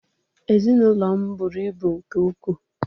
Ezinụlọ m buru ibu nke ukwuu